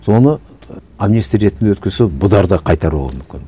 соны амнистия ретінде өткізсе бұлар да қайтаруы мүмкін